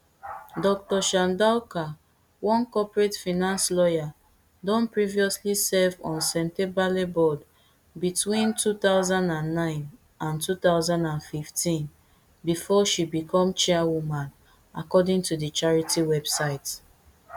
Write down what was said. dr chandauka one corporate finance lawyer don previously serve on sentebale board between two thousand and nine and two thousand and fifteen bifor she become chairwoman according to di charity website